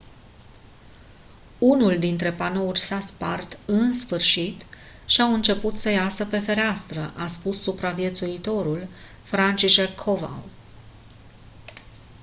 unul dintre panouri s-a spart în sfârșit și au început să iasă pe fereastră a spus supraviețuitorul franciszek kowal